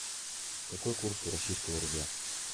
какой курс у российского рубля